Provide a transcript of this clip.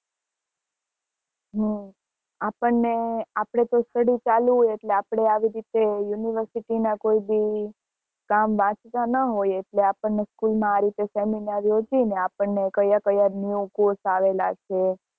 હમ આપને આપડે તો study ચાલુ હોય એટલે આપડે આવી રીતે university ના કોઈ ભી કામ એટલે આપને school માં આ રીતે seminar યોજીને આપને કયા કયા new course આવેલા છે